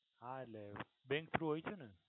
હા એટલે bank through હોય છે ને.